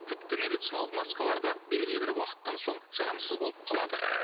тіпті медициналық маскалар да белгілі бір уақыттан соң жарамсыз болып қалады